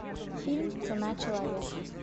фильм цена человека